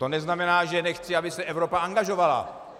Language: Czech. To neznamená, že nechci, aby se Evropa angažovala.